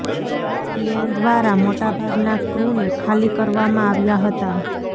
plane દ્વારા મોટા ભાગના ક્રૂને ખાલી કરાવવામાં આવ્યા હતા